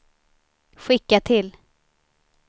skicka till